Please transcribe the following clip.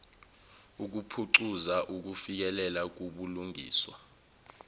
ukuphucuza ukufikelela kubulungiswa